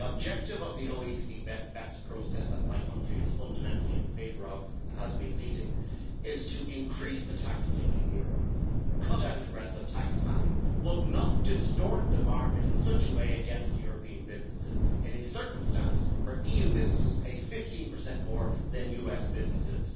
The objective of the OECD Base Erosion and Profit Shifting process that my country is fundamentally in favour of, and has been leading, is to increase the tax take in Europe, cut out aggressive tax planning, but not distort the market in such a way against European businesses in a circumstance where EU businesses pay 15 more than US businesses.